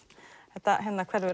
þetta hverfi